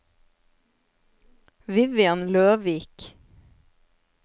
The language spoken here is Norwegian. Vivian Løvik